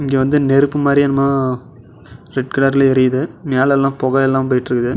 இங்க வந்து நெருப்பு மாரி என்னமோ ரெட் கலர்ல எரியுது மேல எல்லா பொக எல்லா போயிட்டிருக்குது.